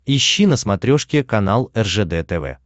ищи на смотрешке канал ржд тв